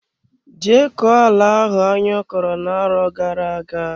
Je koo ala ahụ anyo kọrọ na arọ gara aga!